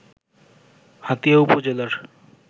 হাতিয়া উপজেলার